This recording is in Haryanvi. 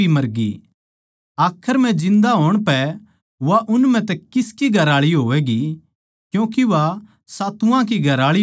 आखर म्ह जिन्दा होण पै वा उन म्ह तै किसकी घरआळी होवैगी क्यूँके वा सातुवां की घरआळी हो ली थी